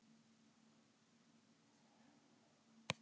Því fór þó fjarri að allir gætu skrifað þetta letur.